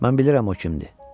Mən bilirəm o kimdir.